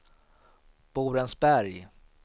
Borensberg